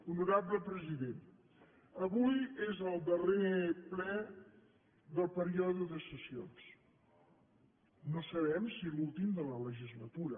honorable president avui és el darrer ple del període de sessions no sabem si l’últim de la legislatura